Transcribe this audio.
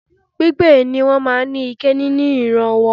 Pípé ní wọ́n máa ń ní ike nínú ìran wọn.